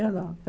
Eu não.